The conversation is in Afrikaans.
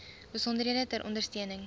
besonderhede ter ondersteuning